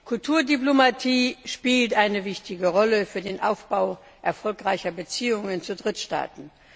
Kulturdiplomatie spielt eine wichtige Rolle für den Aufbau erfolgreicher Beziehungen zu Drittstaaten.